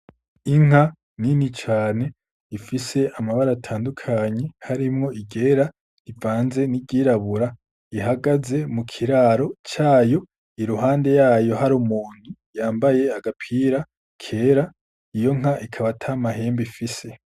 Inka nini cane ifise amabara atandukanye, harimwo iryera rivanze n'iryirabura, ihagaze mu kiraro cayo, i ruhande yayo hari umuntu yambaye agapira kera, iyo nka akaba ata mahembe ifise.